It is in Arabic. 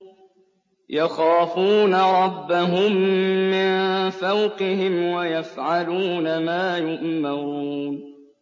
يَخَافُونَ رَبَّهُم مِّن فَوْقِهِمْ وَيَفْعَلُونَ مَا يُؤْمَرُونَ ۩